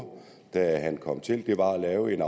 da han kom til var at lave en